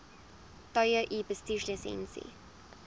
tye u bestuurslisensie